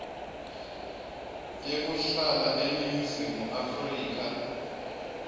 yekuhlala eningizimu afrika